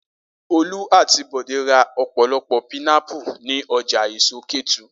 Olú àti Bọ̀dé ra ọ̀pọ̀lọpọ̀ pinápù ní ọjà èso Kétu.